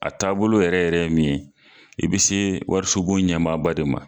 A taabolo yɛrɛ yɛrɛ min ye, i bi se warisobon ɲɛmaaba de ma